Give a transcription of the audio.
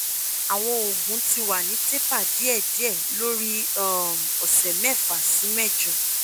awọn oogun ti wa ni taper diėdiė lori um ọsẹ mefa si mejo